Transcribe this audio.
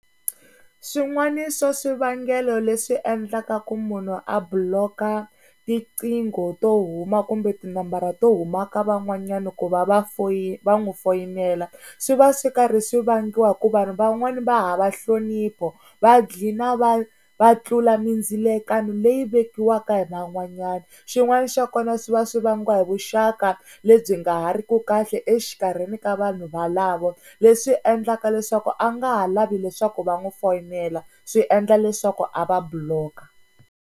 Swin'wana swa swivangelo leswi endlaka ku munhu a block-a tiqingho to huma kumbe tinambara to huma ka van'wanyani ku va va foyini va n'wi foyinela, swi va swi karhi swi vangiwa hi ku vanhu van'wani va hava nhlonipho, va gcina va va tlula mindzilakano leyi vekiwaka hi van'wanyana. Xin'wana xa kona swi va swi vangiwa hi vuxaka lebyi nga ha ri ku kahle exikarhini ka vanhu valavo, leswi endlaka leswaku a nga ha lavi leswaku va n'wi foyinela swi endla leswaku a va block-a.